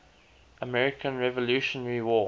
american revolutionary war